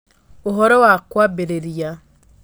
Ũhoro wa kwambĩrĩria: